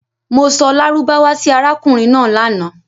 Mo sọ lárúbáwá sì arákùnrin náà lànà.